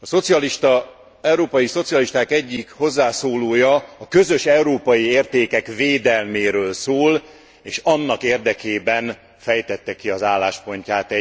Az európai szocialisták egyik hozzászólója a közös európai értékek védelméről szól és annak érdekében fejtette ki az álláspontját.